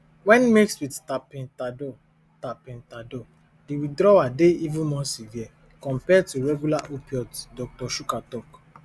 wen mixed with tapentadol tapentadol di withdrawal dey even more severe compared to regular opioids dr shukla tok